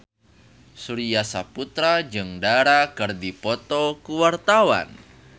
Surya Saputra jeung Dara keur dipoto ku wartawan